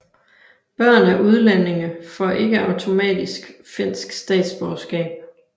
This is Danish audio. Børn af udlændinge får ikke automatisk finsk statsborgerskab